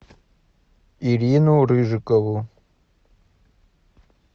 ирину рыжикову